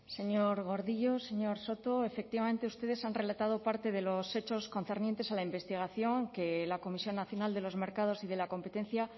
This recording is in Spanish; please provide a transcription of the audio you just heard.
señor gordillo señor soto efectivamente ustedes han relatado parte de los hechos concernientes a la investigación que la comisión nacional de los mercados y de la competencia